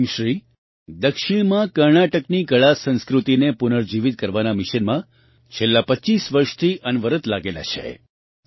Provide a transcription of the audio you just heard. ક્વેમશ્રી દક્ષિણમાં કર્ણાટકની કળાસંસ્કૃતિને પુનર્જીવિત કરવાના મિશનમાં છેલ્લાં 25 વર્ષથી અનવરત લાગેલા છે